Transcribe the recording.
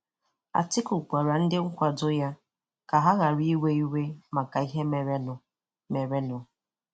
Atiku gwara ndị nkwado ya ka ha ghara iwe iwe maka ihe merenụ. merenụ.